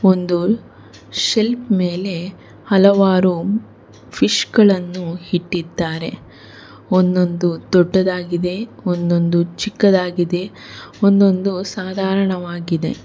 ಒಂದು ಶೆಲ್ಫ್ ಮೇಲೆ ಹಲವಾರು ಫಿಶ್ ಗಳನ್ನು ಇಟ್ಟಿದ್ದಾರೆ ಒಂದೊಂದು ದೊಡ್ಡದಾಗಿದೆ ಒಂದೊಂದು ಚಿಕ್ಕದಾಗಿದೆ ಒಂದೊಂದು ಸಾಧಾರಣವಾಗಿದೆ.